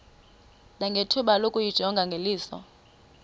nangethuba lokuyijonga ngeliso